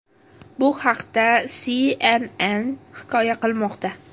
Bu haqda CNN hikoya qilmoqda .